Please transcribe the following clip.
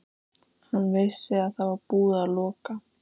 Hann vissi að það var búið að loka